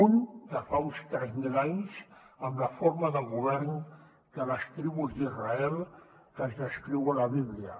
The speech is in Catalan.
un de fa uns tres mil anys amb la forma de govern de les tribus d’israel que es descriu a la bíblia